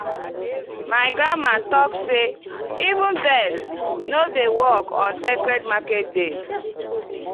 my grandma talk say 'even birds no dey work on sacred market days.